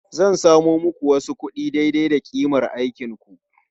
Zan samo muku wasu kuɗi daidai da ƙimar aikinku.